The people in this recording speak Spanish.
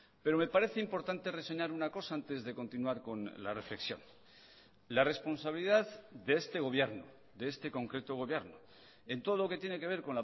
pero me parece importante reseñar una cosa antes de continuar con la reflexión la responsabilidad de este gobierno de este concreto gobierno en todo lo que tiene que ver